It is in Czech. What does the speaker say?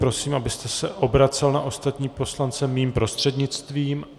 Prosím, abyste se obracel na ostatní poslance mým prostřednictvím.